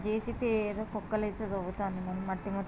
JCB ఏదో కొక్కులైతే దవ్వుతాండ్రు మట్టి--